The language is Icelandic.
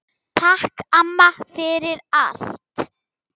Takk, amma, fyrir allt.